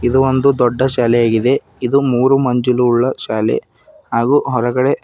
ಇದು ಒಂದು ದೊಡ್ಡ ಶಾಲೆಯಾಗಿದೆ ಇದು ಮೂರು ಮಂಜಿಲು ಉಳ್ಳ ಶಾಲೆ ಹಾಗು ಹೊರಗಡೆ --